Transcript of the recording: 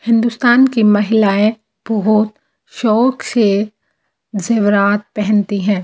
हिंदुस्तान की महिलाएं बहुत शौक से जेवरात पहनती हैं।